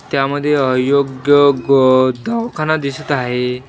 त्यामध्ये अयोग्य दवाखाना दिसत आहे.